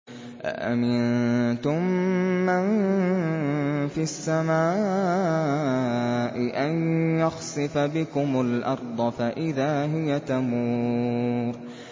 أَأَمِنتُم مَّن فِي السَّمَاءِ أَن يَخْسِفَ بِكُمُ الْأَرْضَ فَإِذَا هِيَ تَمُورُ